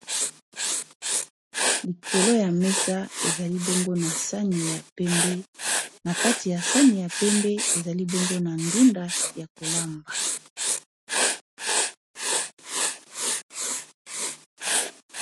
likolo ya mesa ezali bongo na sani ya pembe na kati ya sani ya pembe ezali bongo na ndunda ya kolamba